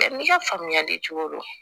N'i ka faamuyali cogo do